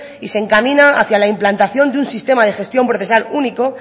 y se encamina hacia la implantación de un sistema de gestión procesal único